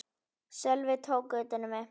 Sölvi tók utan um mig.